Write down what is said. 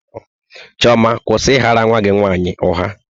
Chioma, kwụsị ị ghara nwa gị nwaanyị ụgha!